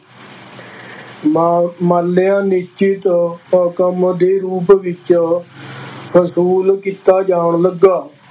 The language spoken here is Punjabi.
ਮਾ ਮਾਲਿਆ ਨਿਸ਼ਚਿਤ ਰਕਮ ਦੇ ਰੂਪ ਵਿੱਚ ਵਸੂਲ ਕੀਤਾ ਜਾਣ ਲੱਗਾ।